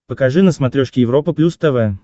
покажи на смотрешке европа плюс тв